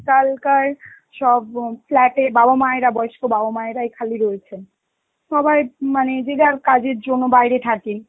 কালকার সব অ flat এ বাবা মায়ের, বয়স্ক বাবা মায়েরাই খালি রয়েছেন, সবাই মানে যে যারকাজের জন্য বাইরে থাকে